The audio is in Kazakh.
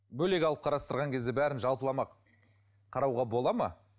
бөлек алып қарастырған кезде бәрін жалпылама қарауға болады ма